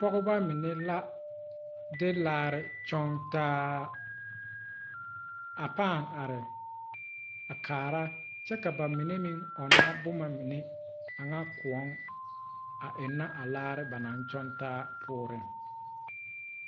Pogeba mine la de laarre kyɔŋtaa a paa are a kaara kyɛ ka ba mine meŋ ɔŋnɔ bomma mine a ŋa koɔŋ a eŋnɛ a laare ba naŋ kyɔŋtaa poɔre.